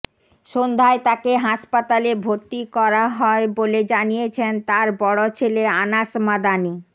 সন্ধ্যায় তাকে হাসপাতালে ভর্তি করা হয়ে বলে জানিয়েছেন তার বড় ছেলে আনাস মাদানী